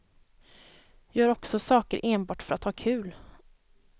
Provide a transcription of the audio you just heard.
Gör också saker enbart för att ha kul.